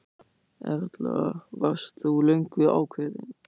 Erla: Varst þú löngu ákveðinn?